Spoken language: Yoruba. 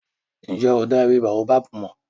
Ǹ jẹ́ o dá ewé Baobab mọ̀?